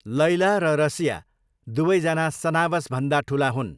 लैला र रसिया दुवैजना सनावसभन्दा ठुला हुन्।